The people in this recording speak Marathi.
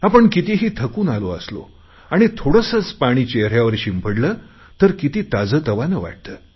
आपण कितीही थकून आलो असलो आणि थोडेसेच पाणी चेहऱ्यावर शिंपडले तर किती ताजेतवाने वाटते